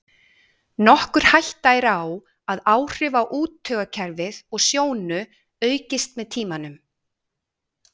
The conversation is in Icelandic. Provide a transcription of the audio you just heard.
Nokkur hætta er á að áhrif á úttaugakerfið og sjónu aukist með tímanum.